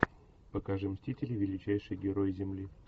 покажи мстители величайшие герои земли